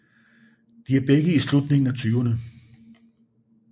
De er begge i slutningen af tyverne